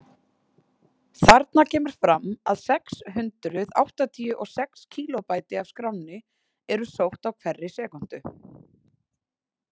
Þarna kemur fram að sex hundruð áttatíu og sex kílóbæti af skránni eru sótt á hverri sekúndu.